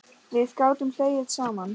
Við gátum hlegið saman.